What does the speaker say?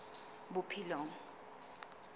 bophelong